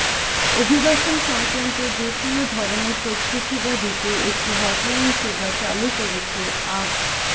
অভিবাসন সংক্রান্ত যেকোন ধরনের তথ্যসেবা দিতে একটি হটলাইন সেবা চালু করেছে আ